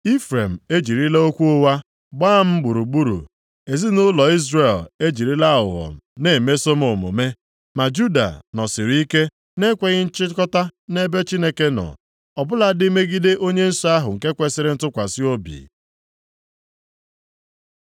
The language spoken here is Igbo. Ifrem e jirila okwu ụgha gbaa m gburugburu, ezinaụlọ Izrel e jirila aghụghọ na-emeso m omume, ma Juda nọsịrị ike nʼekweghị nchịkọta nʼebe Chineke nọ, ọbụladị megide Onye Nsọ ahụ nke kwesiri ntụkwasị obi.